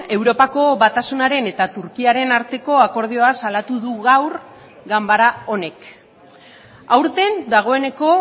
europako batasunaren eta turkiaren arteko akordioa salatu du gaur ganbara honek aurten dagoeneko